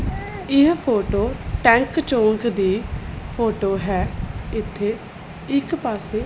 ਇਹ photo tank ਚੌਂਕ ਦੀ ਫੋਟੋ ਹੈ ਇੱਥੇ ਇੱਕ ਪਾਸੇ --